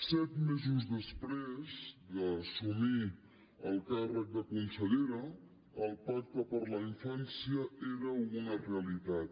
set mesos després d’assumir el càrrec de consellera el pacte per a la infància era una realitat